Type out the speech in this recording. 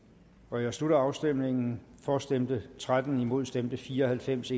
jeg slutter afstemningen for stemte tretten imod stemte fire og halvfems